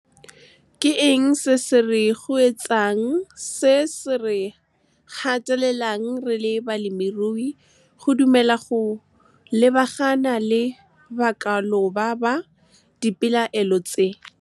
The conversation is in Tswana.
KE ENG SE SE RE KGWEETSANG, SE SE RE GATELELANG RE LE BALEMIRUI, GO DUMELA GO LEBAGANA LE BAKALOBA BA, DIPELAELO TSE? KE ENG SE SE RE KGWEETSANG, SE SE RE GATELELANG RE LE BALEMIRUI, GO DUMELA GO LEBAGANA LE BAKALOBA BA, DIPELAELO TSE?